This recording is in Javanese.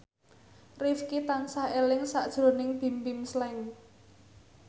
Rifqi tansah eling sakjroning Bimbim Slank